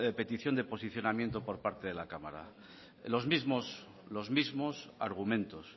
petición de posicionamiento por parte de la cámara los mismos argumentos